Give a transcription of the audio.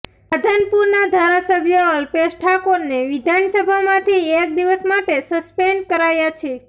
રાધનપુરના ધારાસભ્ય અલ્પેશ ઠાકોરને વિધાનસભામાંથી એક દિવસ માટે સસ્પેન્ડ કરાયા છે